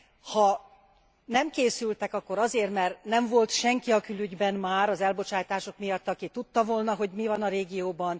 Ha nem készültek, akkor azért nem, mert már nem volt senki a külügyben az elbocsátások miatt, aki tudta volna, hogy mi van a régióban?